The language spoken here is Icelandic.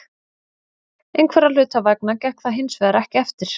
Einhverra hluta vegna gekk það hinsvegar ekki eftir.